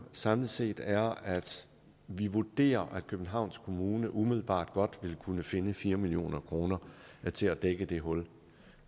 samlet set er at vi vurderer at københavns kommune umiddelbart godt vil kunne finde fire million kroner til at dække det hul